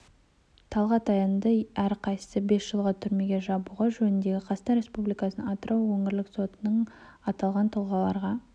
талғат аянды әрқайсысын бес жылға түрмеге жабу жөніндегі қазақстан республикасының атырау өңірлік сотының аталған тұлғаларға